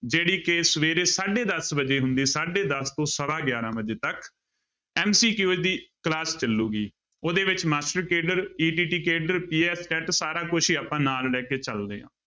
ਜਿਹੜੀ ਕਿ ਸਵੇਰੇ ਸਾਢੇ ਦਸ ਵਜੇ ਹੁੰਦੀ ਆ, ਸਾਢੇ ਦਸ ਤੋਂ ਸਵਾ ਗਿਆਰਾਂ ਵਜੇ ਤੱਕ MCQ ਦੀ class ਚੱਲੇਗੀ, ਉਹਦੇ ਵਿੱਚ master cadre ETT cadre PSTET ਸਾਰਾ ਕੁਛ ਹੀ ਆਪਾਂ ਨਾਲ ਲੈ ਕੇ ਚੱਲਦੇ ਹਾਂ।